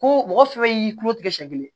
Ko mɔgɔ fɛn fɛn y'i kulo tigɛ siɲɛ kelen